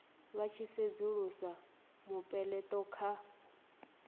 vha tshi sedzulusa mupeleto kha